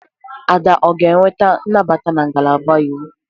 Ada ga-enweta nnabata na ngalaba Iwu?